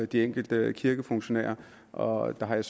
de enkelte kirkefunktionærer og der har jeg